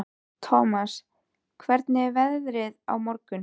Thomas, hvernig er veðrið á morgun?